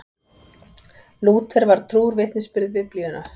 Lúther var trúr vitnisburði Biblíunnar.